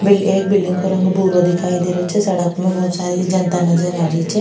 बिल एक बिल्डिंग को रंग भूरो दिखाई दे रियो छे सड़क में बहोत सारी जनता नजर आ रही छे।